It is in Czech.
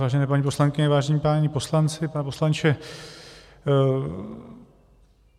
Vážené paní poslankyně, vážení páni poslanci, pane poslanče.